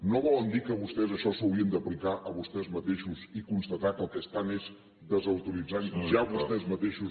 no volen dir que vostès això s’ho haurien d’aplicar a vostès mateixos i constatar que el que estan és desautoritzant ja vostès mateixos